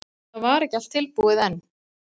En það var ekki allt búið enn.